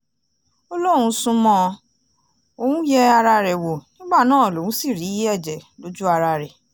ó lóun sún mọ́ ọn òun yẹ ara rẹ̀ wò nígbà náà lòun sì rí ẹ̀jẹ̀ lójú ara rẹ̀